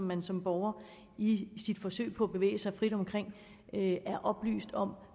man som borger i sit forsøg på at bevæge sig frit omkring er oplyst om